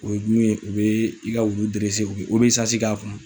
O ye min ye u bɛ i ka wulu u bɛ k'a kun.